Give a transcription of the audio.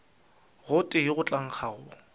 gotee go tla nkga go